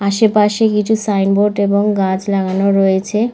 আশেপাশে কিছু sign board এবং গাছ লাগানো রয়েছে।